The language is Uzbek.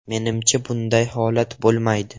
Menimcha, bunday holat bo‘lmaydi.